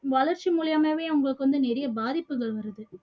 வளர்ச்சி மூலியமாவே உங்களுக்கு வந்து நிறைய பாதிப்புகள் வருது